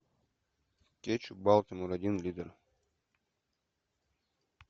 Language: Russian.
кетчуп балтимор один литр